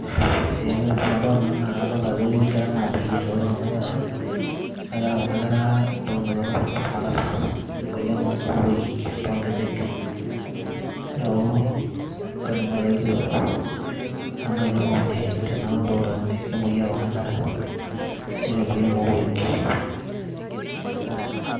ee ore entoki nadolita naa kadolita ajo ketii inkera namwoyiaa. ore kuna kera naa keeta kuna kera omoyian naji marasmus emoyian oloik too nkejek.